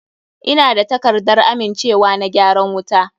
Ina da takardar amincewa na gyaran wuta.